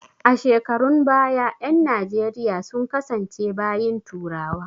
A shekarun baya ƴan najeriya sun kasance bayin turawa